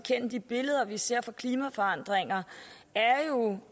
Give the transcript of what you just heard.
at de billeder vi ser fra klimaforandringer er